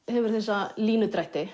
hefur þessa